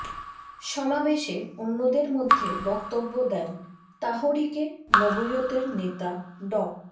সমাবেশে অন্যদের মধ্যে বক্তব্য দেন তাহরিকে নবুয়তের নেতা ড